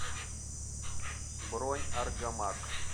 бронь аргамак